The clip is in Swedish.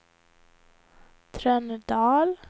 Trönödal